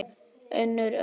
Unnur Ösp.